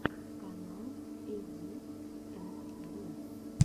канал эйди энд ди